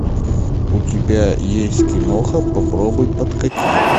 у тебя есть кино попробуй подкати